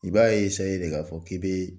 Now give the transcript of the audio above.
I b'a de k'a fɔ k'i bɛ